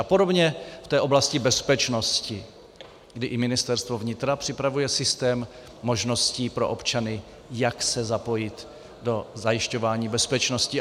A podobně v té oblasti bezpečnosti, kdy i Ministerstvo vnitra připravuje systém možností pro občany, jak se zapojit do zajišťování bezpečnosti.